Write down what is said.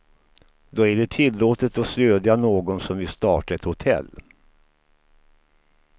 Då är det tillåtet att stödja någon som vill starta ett hotell.